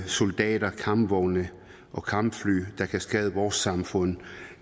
soldater og kampvogne og kampfly der kan skade vores samfund